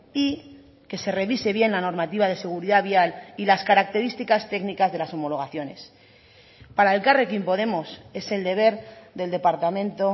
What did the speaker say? y que se revise bien la normativa de seguridad vial y las características técnicas de las homologaciones para elkarrekin podemos es el deber del departamento